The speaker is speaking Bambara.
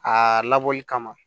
Aa labɔli kama